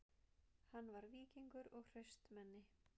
Hann var víkingur og hraustmenni